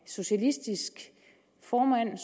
socialistisk formand